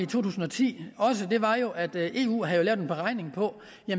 tusind og ti var jo at eu havde lavet en beregning på